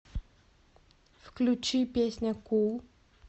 включи песня кул